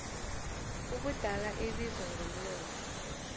ubudala ebizwa ngomlomo